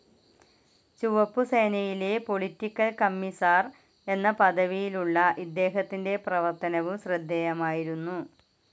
ചുവപ്പു സേനയിലെ political commissar എന്ന പദവിയിലുള്ള ഇദ്ദേഹത്തിന്റെ പ്രവർത്തനവും ശ്രദ്ധേയമായിരുന്നു.